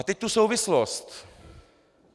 A teď tu souvislost.